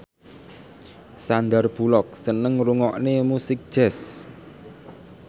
Sandar Bullock seneng ngrungokne musik jazz